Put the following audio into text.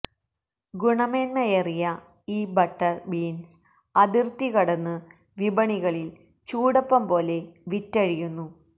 ഗുണമേന്മയേറിയ ഈ butter beans അതിര്ത്തി കടന്ന് വിപണികളില് ചൂടപ്പംപോലെ വിറ്റഴിയുന്നു